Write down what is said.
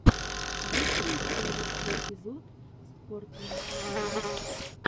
есть ли у тебя лучший эпизод спорт лайф два